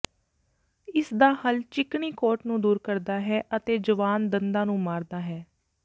ਇਸ ਦਾ ਹੱਲ ਚਿਕਣੀ ਕੋਟ ਨੂੰ ਦੂਰ ਕਰਦਾ ਹੈ ਅਤੇ ਜਵਾਨ ਦੰਦਾਂ ਨੂੰ ਮਾਰਦਾ ਹੈ